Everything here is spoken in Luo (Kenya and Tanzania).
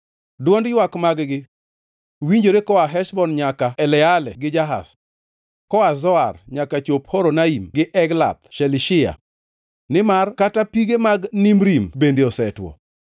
“Dwond ywak mag-gi winjore koa Heshbon nyaka Eleale gi Jahaz, koa Zoar nyaka chop Horonaim gi Eglath Shelishiya, nimar kata pige mag Nimrim bende osetwo.